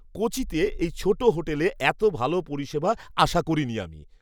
কোচিতে এই ছোট হোটেলে এত ভাল পরিষেবা আশা করিনি আমি!